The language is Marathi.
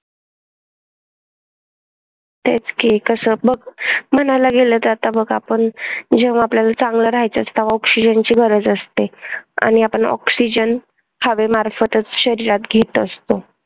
तेच कि तसाच बघ म्हणायला गेलं तर आता बघ आपण जेव्हा आपल्याला चांगल राहायचं असल तेव्हा oxygen ची गरज असते आणि आपण oxygen हवेमार्फातच शरीरात घेत असतो.